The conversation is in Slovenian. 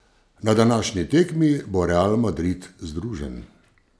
Na današnji tekmi bo Real Madrid združen.